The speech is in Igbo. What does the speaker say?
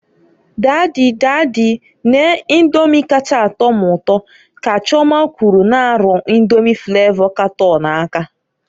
"Dady, dady, nee Indomi kacha a tọ m ụtọ", ka Chioma kwulu n'arụ Indomi flavo katọn aka.